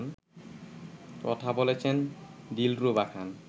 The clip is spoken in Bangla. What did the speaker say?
কথা বলেছেন দিলরুবা খান